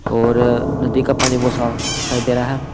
और नदी का पानी बहुत साफ दिखाई दे रहा है।